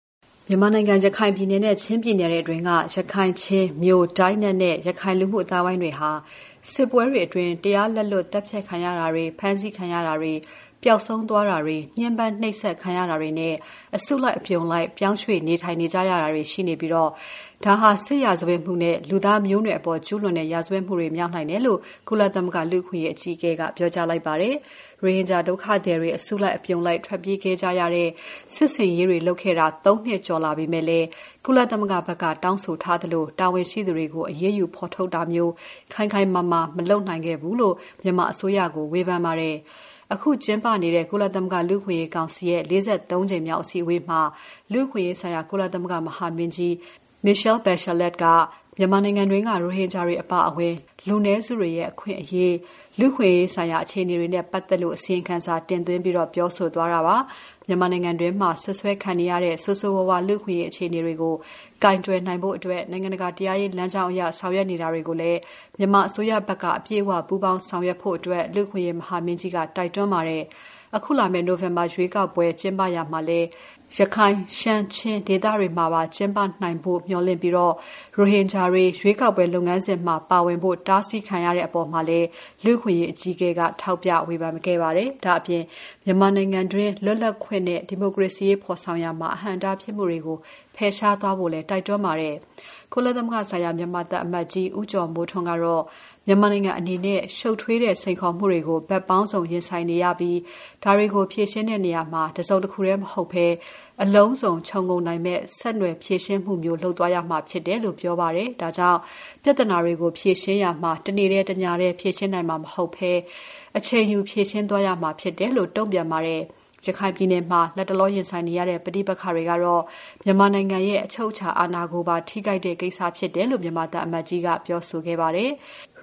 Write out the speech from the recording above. မြန်မာနိုင်ငံ ရခိုင်ပြည်နယ်နဲ့ ချင်းပြည်နယ်အတွင်းက ရခိုင်၊ ချင်း၊ မြို၊ ဒိုင်းနက်နဲ့ ရခိုင် လူမှုအသိုင်းအဝိုင်းတွေဟာ စစ်ပွဲတွေအတွင်း တရားလက်လွတ်သတ်ဖြတ်ခံရတာတွေ ဖမ်းဆီးခံရတာတွေ ပျောက်ဆုံးသွားတာတွေ ညှဉ်းပန်းနှိပ်စက်ခံရတာတွေနဲ့ အစုလိုက်အပြုံလိုက်ပြောင်းရွှေ့နေထိုင်ရတာတွေ ရှိနေပြီး ဒါဟာ စစ်ရာဇဝတ်မှုနဲ့ လူသားမျိုးနွယ်အပေါ်ကျူးလွန်တဲ့ရာဇဝတ်မှုတွေ မြောက်နိုင်တယ်လို့ ကုလသမဂ္ဂ လူ့အခွင့်အရေးအကြီးအကဲက ပြောလိုက်ပါတယ်။ ရိုဟင်ဂျာဒုက္ခသည်တွေ အစုအပြုံလိုက်ထွက်ပြေးခဲ့ရတဲ့ စစ်ဆင်ရေးတွေလုပ်ခဲ့တာ သုံးနှစ်ကျော်ကြာလာပေမဲ့လည်း၊ ကုလသမဂ္ဂဘက်က တောင်းဆိုထားသလို တာဝန်ရှိသူတွေကို အရေးယူဖော်ထုတ်တာမျိုး ခိုင်ခိုင်မာမာ မလုပ်နိုင်ခဲ့ဘူးလို့ မြန်မာအစိုးရကို ဝေဖန်ထားပါတယ်။ အခု ကျင်းပနေတဲ့ ကုလသမဂ္ဂ လူ့အခွင့်အရေးကောင်စီ ၄၃ ကြိမ်မြောက်အစည်းအဝေးမှာ လူ့အခွင့်အရေးဆိုင်ရာ ကုလသမဂ္ဂ မဟာမင်းကြီး Michelle Bachelet က မြန်မာနိုင်ငံတွင်းက ရိုဟင်ဂျာတွေအပါအဝင် လူနည်းစုတွေနဲ့ အခွင့်အရေး၊ လူ့အခွင့်အရေးဆိုင်ရာအခြေအနေတွေနဲ့ ပတ်သက်လို့ အစီရင်ခံစာတင်သွင်းပြီး ပြောဆိုသွားတာပါ။ မြန်မာနိုင်ငံတွင်းမှာ စွပ်စွဲခံနေရတဲ့ ဆိုးဆိုးဝါးဝါး လူ့အခွင့်အရေး အခြေအနေတွေကို ကိုင်တွယ်ဖို့ နိုင်ငံတကာတရားရေးလမ်းကြောင်းအရ ဆောင်ရွက်နေတာကိုလည်း မြန်မာအစိုးရဖက်က အပြည့်အ၀ ပူးပေါင်းဆောင်ရွက်ဖို့ လူ့အခွင့်အရေး မဟာမင်းကြီးက တိုက်တွန်းခဲ့ပါတယ်။ အခုလာမယ့် နိုဝင်ဘာရွေးကောက်ပွဲ ကျင်းပရာမှာလည်း ရခိုင် ရှမ်း ချင်း ဒေသတွေမှာပါ ကျင်းပနိုင်ဖို့ မျှော်လင့်ပြီး ရိုဟင်ဂျာတွေ ရွေးကောက်ပွဲ လုပ်ငန်းစဉ်မှာ ပါဝင်ဖို့ တားဆီးခံရတဲ့အပေါ်မှာလည်း ကုလလူ့အခွင့်အရေးအကြီးအကဲက ထောက်ပြဝေဖန်ခဲ့ပါတယ်။ ဒါ့အပြင် မြန်မာနိုင်ငံတွင်း လွတ်လပ်ခွင့်နဲ့ ဒီမိုကရေစီရေးဖော်ဆောင်ရာမှာ အဟန့်အတားဖြစ်မှုတွေကို ဖယ်ရှားသွားဖို့လည်း တိုက်တွန်းထားပါတယ်။ ကုလသမဂ္ဂဆိုင်ရာ မြန်မာသံအမတ်ကြီး ဦးကျော်မိုးထွန်းကတော့ မြန်မာနိုင်ငံအနေနဲ့ ရှုပ်ထွေးတဲ့စိန်ခေါ်မှုတွေကို ဘက်ပေါင်းစုံ ရင်ဆိုင်နေရပြီး၊ ဒါတွေကို ဖြေရှင်းရာမှာ တစုံတခုတည်း မဟုတ်ဘဲ အလုံးစုံခြုံငုံမယ့် ဆက်နွယ်ဖြေရှင်းမှုမျိုး လုပ်သွားရမှာဖြစ်တယ်လို့ ပြောပါတယ်။ ဒါကြောင့် ပြဿနာတွေကို ဖြေရှင်းရာမှာ တနေ့တည်း တညတည်းဖြေရှင်းနိုင်မှာ မဟုတ်ဘဲ အချိန်ယူဖြေရှင်းသွားရမှာဖြစ်တယ်လို့ တုံ့ပြန်ပါတယ်။ ရခိုင်ပြည်မှာ လတ်တလောရင်ဆိုင်နေရတဲ့ ပဋိပက္ခကတော့ မြန်မာနိုင်ငံရဲ့အချုပ်အချာအာဏာကိုပါ ထိခိုက်တဲ့ကိစ္စဖြစ်တယ်လို့ မြန်မာသံအမတ်ကြီးက ပြောဆိုခဲ့ပါတယ်။